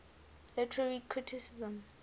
literary criticism